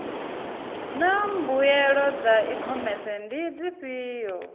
naa mbuelo dza ikhomese ndi dzifhio